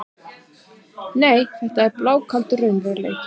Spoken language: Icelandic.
Nei, þetta er blákaldur raunveruleikinn.